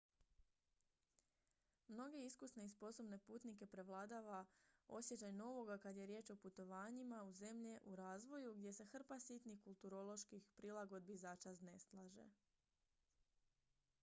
mnoge iskusne i sposobne putnike prevlada osjećaj novoga kad je riječ o putovanjima u zemlje u razvoju gdje se hrpa sitnih kulturoloških prilagodbi začas naslaže